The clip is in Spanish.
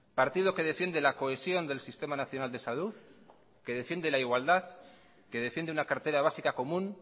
partido que defiende la cohesión del sistema nacional de salud que defiende la igualdad que defiende una cartera básica común